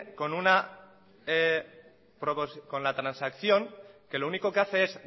con la transacción que lo único que hace es